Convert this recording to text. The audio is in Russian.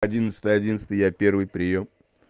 одиннадцать одиннадцать я первый приём